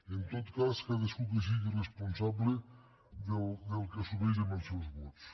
en tot cas cadascú que sigui responsable del que assumeix amb els seus vots